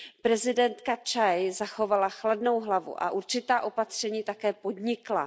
Prezidentka Cchaj zachovala chladnou hlavu a určitá opatření také podnikla.